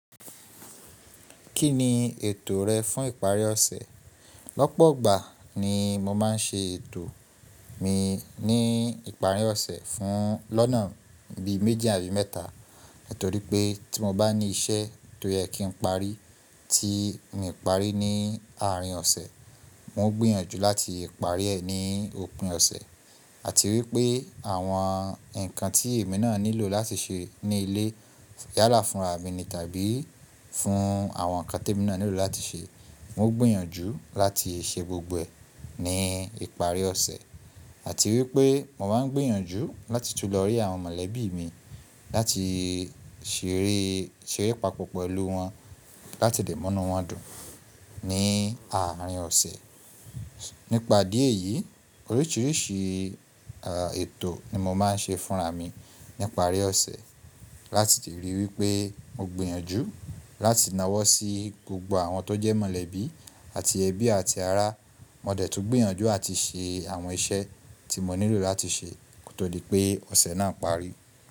Kí ni ètò rẹ fún ìparí ọ̀sẹ̀? Lọ́pọ̀ ìgbà ni mo máa ń ṣe ètò mi ní ìparí ọ̀sẹ̀ fún lọ́nà bí méjì àbí mẹ́ta, torí pé tí mo bá ní iṣẹ́ tó yẹ kí n parí tí n parí ní àárín ọ̀sẹ̀, mo gbéyànjú láti parí ẹ̀ ní òpin ọ̀sẹ̀ àti wípé àwọn ǹkan tí èmi náà nílò láti ṣe ní ilé yálà fúnra mi ni tàbí fún àwọn ǹkan tí èmi náà nílò láti ṣe, n ó gbìyànjú láti ṣe gbogbo ẹ̀ ní ìparí ọ̀sẹ̀ àti wípé mo máa ń gbìyànjú láti tún lọ rí àwọn mọ̀lẹ́bí mi láti ṣeré, ṣeré papọ̀ pẹ̀lú wọn, láti dẹ̀ múnú wọ́n dùn ní àárín ọ̀sẹ̀. Nípa ìdí èyí, oríṣiríṣi ètò ni mo máa ń ṣe fúnra mi níparí ọ̀sẹ̀ láti lè ríi wípé mo gbìyànjú láti nawọ́ sí gbogbo àwọn tó jẹ́ mọ̀lẹ́bí àti ẹbí àti ará. Mo dẹ̀ tún gbéyànjú àti ṣe àwọn iṣẹ́ tí mo nílò láti ṣe kó tó di pé ọ̀sẹ̀ náà parí.